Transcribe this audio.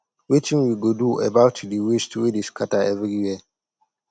wetin we go do about the waste wey dey scatter everywhere